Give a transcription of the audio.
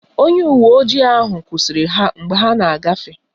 Onye uwe ojii ahụ kwụsịrị ha mgbe ha na-agafe.